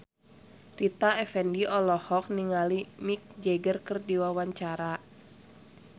Rita Effendy olohok ningali Mick Jagger keur diwawancara